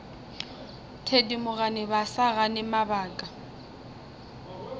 thedimogane ba sa gane mabaka